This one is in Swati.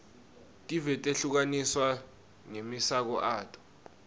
tive tehlukaniswe ngemasiko ato